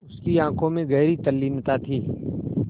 उसकी आँखों में गहरी तल्लीनता थी